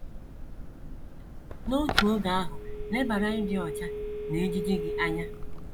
N’otu oge ahụ, lebara ịdị ọcha na ejiji gị anya.